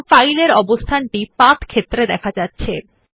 দেখুন ফাইলের অবস্থান টি পাথ ক্ষেত্রে দেখা যাচ্ছে